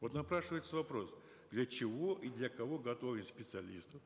вот напрашивается вопрос для чего и для кого готовим специалистов